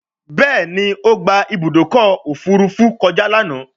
Béèni o gbà Ibùdókọ̀ òfurufú kọjá lànà.